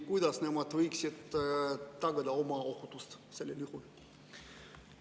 Kuidas nemad võiksid tagada oma ohutuse sellisel juhul?